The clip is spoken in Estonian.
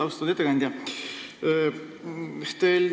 Austatud ettekandja!